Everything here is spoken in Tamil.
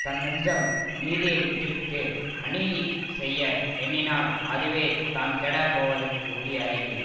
தன் நெஞ்சம் நீதியை விட்டுவிட்டு அநீதி செய்ய எண்ணி னால் அதுவே தான் கெடப் போவதற்கு உரிய அறிகுறி